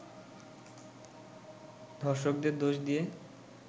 ধর্ষকদের দোষ দিয়ে